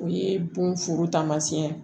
O ye bonforo taamasiyɛn ye